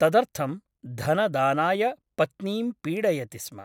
तदर्थं धनदानाय पत्नीं पीडयति स्म ।